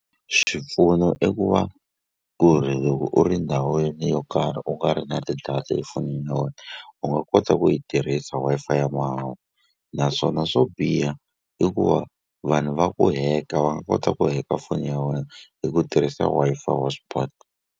Swipfuno i ku va ku ri loko u ri ndhawini yo karhi u nga ri na ti-data efonini ya wena u nga kota ku yi tirhisa Wi-Fi ya mahala naswona swo biha i ku va vanhu va ku hack-a va nga kota ku hack-a foni ya wena hi ku tirhisa Wi-Fi Hotspot.